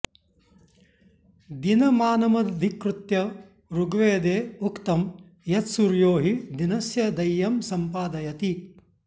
दिनमानमधिकृत्य ऋग्वेदे उक्तं यत्सूर्यो हि दिनस्य दैयँ सम्पादयति